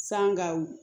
San gawo